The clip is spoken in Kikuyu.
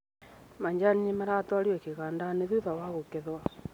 Macani maratwarirwo kĩgandainĩ thutha wa kũgetwo.